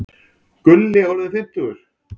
Gulli orðinn fimmtugur.